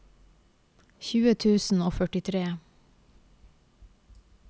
tjue tusen og førtitre